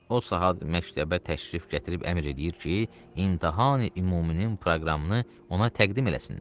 O saat məktəbə təşrif gətirib əmr eləyir ki, imtahan-ümuminin proqramını ona təqdim eləsinlər.